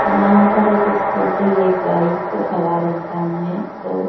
यहां पर एक स्कूटी एक बाइक का सवार इंसान है दो--